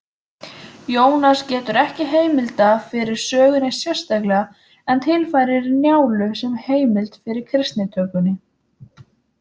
Jónas getur ekki heimilda fyrir sögunni sérstaklega en tilfærir Njálu sem heimild fyrir kristnitökunni.